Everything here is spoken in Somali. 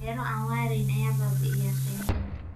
Beero aan waarayn ayaa baabi'iya kaymaha.